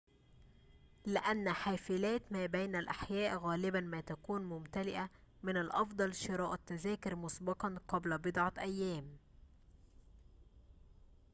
لأن حافلات ما بين الأحياء غالباً ما تكون ممتلئة من الأفضل شراء التذاكر مسبقاً قبل بضعة أيام